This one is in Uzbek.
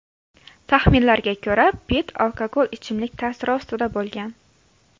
Taxminlarga ko‘ra, Pitt alkogol ichimlik ta’siri ostida bo‘lgan.